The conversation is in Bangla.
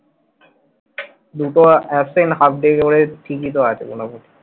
দুটো absent half day হয়ে ঠিকই তো আছে মোটামুটি।